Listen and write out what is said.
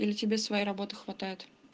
или тебе своей работы хватает